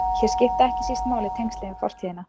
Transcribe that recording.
Hér skipta ekki síst máli tengslin við fortíðina.